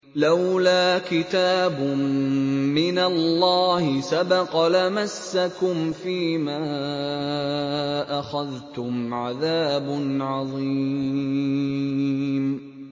لَّوْلَا كِتَابٌ مِّنَ اللَّهِ سَبَقَ لَمَسَّكُمْ فِيمَا أَخَذْتُمْ عَذَابٌ عَظِيمٌ